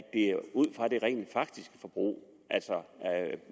ud fra det rent faktiske forbrug altså